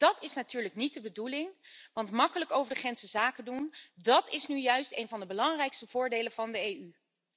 Dat is natuurlijk niet de bedoeling, want gemakkelijk over de grens kunnen zakendoen is nu juist een van de belangrijkste voordelen van de EU.